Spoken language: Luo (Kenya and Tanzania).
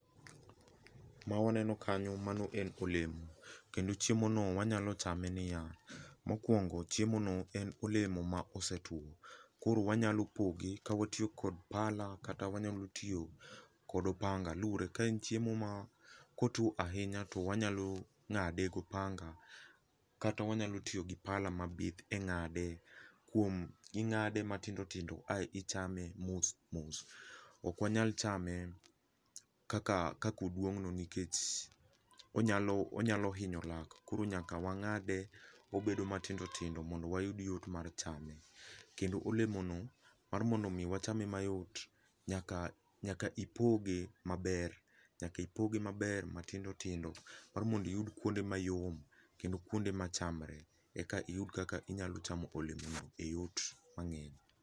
Ma waneno kanyo mano en olemo kendo chiemo no wanyalo chame niya, mokuongo chiemo no en olemo ma osetuo, koro wanyalo poge ka watiyo kod pala kata wanyalo tiyo kod opanga luore ,ka en chiemo ,kotuo ahinya to wanyalo ng'ade gi opanga kata wanyalo tiyo gi pala mabith e ng'ade. Kuom, ing'ade matindo tindo ae ichame mos mos, ok wanyal chame kaka ,kaka oduong no nikech onyalo, onyalo hinyo lak koro nyaka wangade obedo matindo tindo mondo wayud yot mar chame. kendo olemo no mar mondo mi wachame mayot, nyaka, nyaka ipoge maber, nyaka ipoge maber matindo tindo mar mondo iyud kuonde mayom kendo kuonde machamre eka iyud kaka inyalo chamo olemo no e yot mangeny